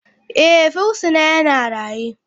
Eh, fursuna yana raye.